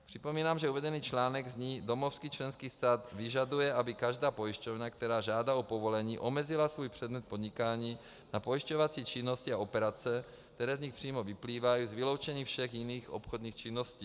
Připomínám, že uvedený článek zní: "Domovský členský stát vyžaduje, aby každá pojišťovna, která žádá o povolení, omezila svůj předmět podnikání na pojišťovací činnosti a operace, které z nich přímo vyplývají, s vyloučením všech jiných obchodních činností."